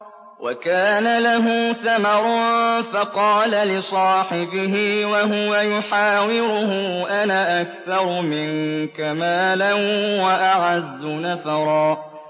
وَكَانَ لَهُ ثَمَرٌ فَقَالَ لِصَاحِبِهِ وَهُوَ يُحَاوِرُهُ أَنَا أَكْثَرُ مِنكَ مَالًا وَأَعَزُّ نَفَرًا